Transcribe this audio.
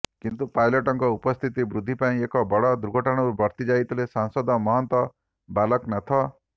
କିନ୍ତୁ ପାଇଲଟଙ୍କ ଉପସ୍ଥିତ ବୁଦ୍ଧି ପାଇଁ ଏକ ବଡ଼ ଦୁର୍ଘଟଣାରୁ ବର୍ତ୍ତି ଯାଇଥିଲେ ସାଂସଦ ମହନ୍ତ ବାଲକନାଥ